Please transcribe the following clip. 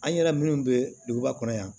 An yɛrɛ minnu bɛ duguba kɔnɔ yan